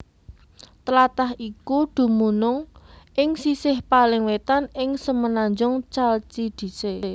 Tlatah iku dumunung ing sisih paling wétan ing semenanjung Chalcidice